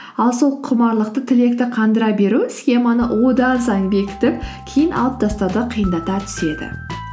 ал сол құмарлықты тілекті қандыра беру схеманы одан сайын бекітіп кейін алып тастауды қиындата түседі